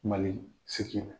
Mali sigi